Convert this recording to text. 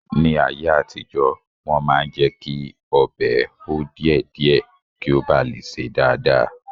Ní ayé àtijọ́, Wọ́n máa ń jẹ́kí ọbẹ̀ hó díẹ̀ díẹ̀ kí ó ba lè sè dáadáa